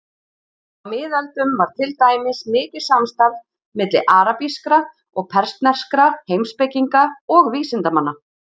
Á miðöldum var til dæmis mikið samstarf milli arabískra og persneskra heimspekinga og vísindamanna.